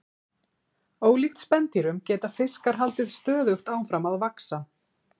ólíkt spendýrum geta fiskar haldið stöðugt áfram að vaxa